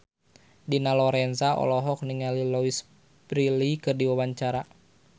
Dina Lorenza olohok ningali Louise Brealey keur diwawancara